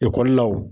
Ekɔlilaw